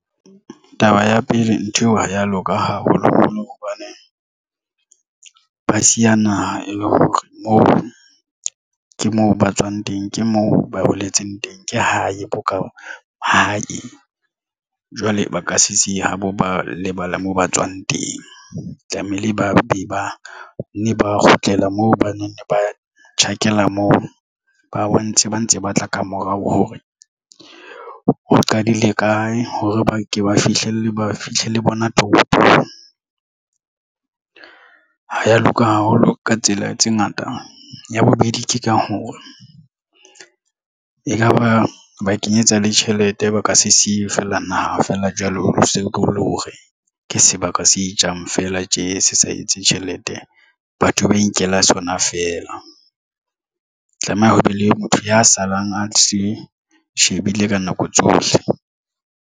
Taba ya pele, ntho eo ha ya loka haholoholo hobane ba siya naha e le hore mo ke moo ba tswang teng ke moo ba holetseng teng ke hae bo ka hae jwale ba ka se se habo ba lebala moo ba tswang teng tlamehile. Ba be ba ne ba kgutlela moo ba neng ba tjhakela moo ba bontshe ba ntse ba tla ka morao hore o qadile kae hore ba ke ba fihlelle ba fihle le bona toropong ha ya loka haholo ka tsela tse ngata. Ya bobedi ke ka hore ekaba ba kenyetsa le tjhelete ba ka se siye fela naha feela jwalo so le hore ke sebaka se jang fela tje se sa etse tjhelete batho ba inkela sona feela tlameha ho be le motho ya salang a se shebile ka nako tsohle.